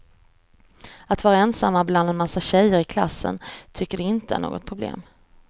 Att vara ensamma bland en massa tjejer i klassen tycker de inte är något problem.